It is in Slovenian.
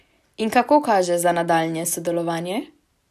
In kako kaže za nadaljnje sodelovanje?